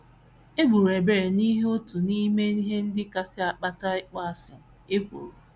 E gburu Ebel n’ihi otu n’ime ihe ndị kasị akpata ịkpọasị: ekworo.